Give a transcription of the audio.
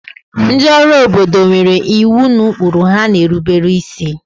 ndị ọrụ obodo nwere iwu na ụkpụrụ ha na-erubere isi